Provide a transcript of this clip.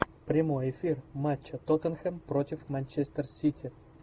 прямой эфир матча тоттенхэм против манчестер сити